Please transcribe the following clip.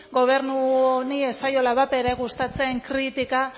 gobernu honi ez zaiola bat ere gustatzen kritika